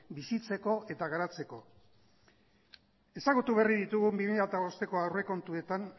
bizitzeko eta garatzeko ezagutu berri ditugun bi mila hamabosteko aurrekontuetan